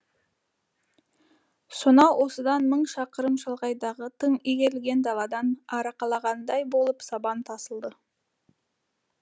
сонау осыдан мың шақырым шалғайдағы тың игерілген даладан арқалағандай болып сабан тасылды